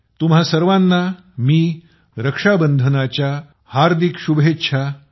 तुम्हा सर्वांना रक्षाबंधनाच्या अग्रीम हार्दिक शुभेच्छा